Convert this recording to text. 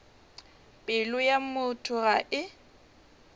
pelo ya motho ga e